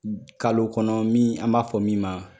Kalo kɔnɔ min an b'a fɔ min ma